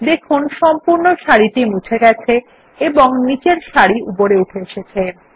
দেখুন সম্পূর্ণ সারি মুছে গেছে এবংনিচের সারি উপরে উঠে এসেছে